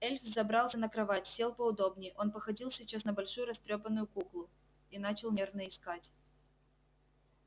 эльф взобрался на кровать сел поудобнее он походил сейчас на большую растрёпанную куклу и начал нервно икать